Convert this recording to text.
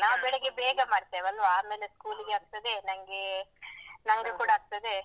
ನಾವು ಬೆಳಗ್ಗೆ ಬೇಗ ಮಾಡ್ತೇವೆ ಅಲ್ವ ಆಮೇಲೆ school ಗೆ ಆಗ್ತದೆ ನಂಗೆ ನಮಗೆ ಕೂಡ ಆಗ್ತದೆ.